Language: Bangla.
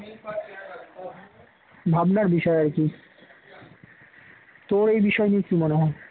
ভাবনার বিষয় আর কি তোর এই বিষয় নিয়ে কি মনে হয়?